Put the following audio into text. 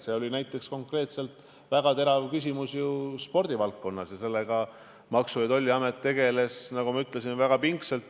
See oli konkreetselt väga terav küsimus ka spordivaldkonnas ja Maksu- ja Tolliamet tegeles sellega, nagu ma ütlesin, väga pingsalt.